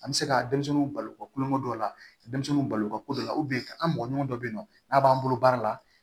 An bɛ se ka denmisɛnninw balo ka kulonkɛ dɔ la denmisɛnninw balo ka ko dɔ la an mɔgɔ ɲɔgɔn dɔ bɛ yen nɔ n'a b'an bolo baara la